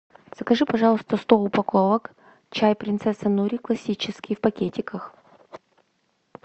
закажи пожалуйста сто упаковок чай принцесса нури классический в пакетиках